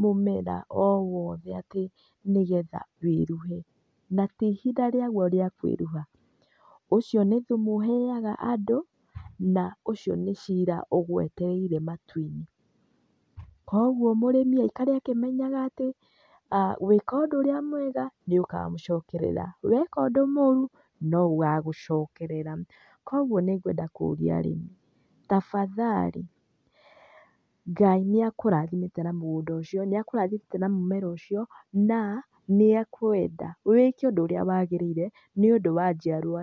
mũmera o wothe atĩ nĩgetha wĩruhe, na ti ihinda rĩaguo rĩa kwĩruha, ũcio nĩ thumu ũheaga andũ, na ũcio nĩ cira ũgwetereire matu-inĩ. Kuoguo mũrĩmi aikare akĩmenyaga atĩ, gwĩka ũndũ ũrĩa mwega nĩũkamũcokerera. Weka ũndũ mũru, noũgagũcokerera. Kuoguo nĩgwenda kũria arĩmi tafadhali Ngai nĩakũrathimĩte na mũgũnda ũcio, nĩakũrathimĩte na mũmera ũcio na nĩekwenda wĩke ũndũ ũrĩa wagĩrĩire nĩũndũ wa njiarwa.